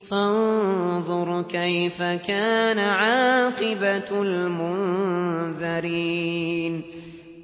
فَانظُرْ كَيْفَ كَانَ عَاقِبَةُ الْمُنذَرِينَ